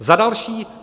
Za další.